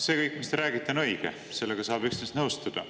See kõik, mis te räägite, on õige, sellega saab üksnes nõustuda.